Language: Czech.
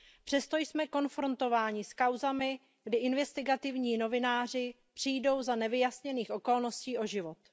Přesto jsme konfrontováni s kauzami, kdy investigativní novináři přijdou za nevyjasněných okolností o život.